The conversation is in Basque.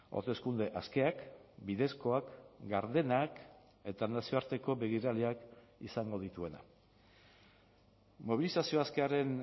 hauteskunde askeak bidezkoak gardenak eta nazioarteko begiraleak izango dituena mobilizazio askearen